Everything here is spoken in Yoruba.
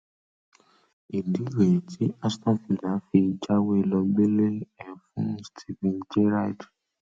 ìdí rèé tí aston villa fi jáwé ló gbélé ẹ fún steven gerrard